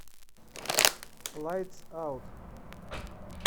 лайтс аут